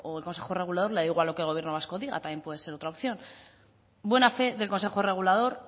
o al consejo regulador le da igual lo que el gobierno vasco diga también puede ser otra opción buena fe del consejo regulador